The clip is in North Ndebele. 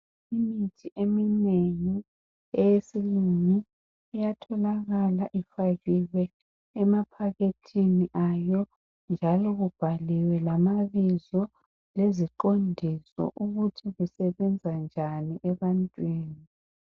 Imithi eminengi eyesilungu iyatholakala ifakiwe emaphakethini ayo njalo kubhaliwe lamabizo leziqondiso ukuthi kusebenza njani ebantwini